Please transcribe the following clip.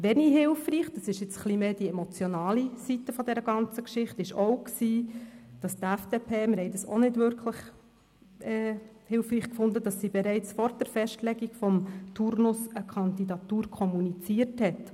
Wenig hilfreich – das ist jetzt mehr die emotionale Seite der ganzen Geschichte – war, dass die FDP bereits vor der Festlegung des Turnus eine Kandidatur kommuniziert hat.